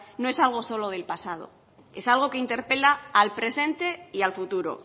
no es algo solo del pasado es algo que interpela al presente y al futuro